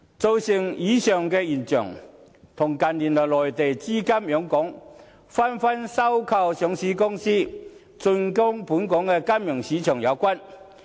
造成以上現象，跟近年內地資金湧港，紛紛收購上市公司，進軍本港金融市場有關。